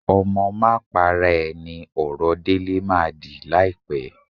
Ọmọ máa para à ni ọ̀rọ̀ Délé máa dì láìpẹ́